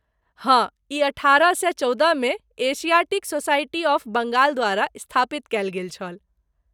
हाँ, ई अठारह सए चौदहमे एशियाटिक सोसाइटी ऑफ बंगाल द्वारा स्थापित कयल गेल छल।